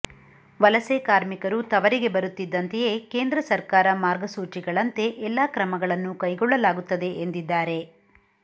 ವಲಸೆ ಕಾರ್ಮಿಕರು ತವರಿಗೆ ಬರುತ್ತಿದ್ದಂತೆಯೇ ಕೇಂದ್ರ ಸರ್ಕಾರ ಮಾರ್ಗಸೂಚಿಗಳಂತೆ ಎಲ್ಲಾ ಕ್ರಮಗಳನ್ನು ಕೈಗೊಳ್ಳಲಾಗುತ್ತದೆ ಎಂದಿದ್ದಾರೆ